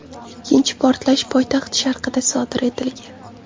Ikkinchi portlash poytaxt sharqida sodir etilgan.